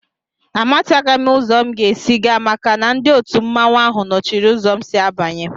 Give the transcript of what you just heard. Àmátaghị m uzo m ga-ési gaa maka na ndị òtù mmanwu áhù nọchiri ụzọ m si abanye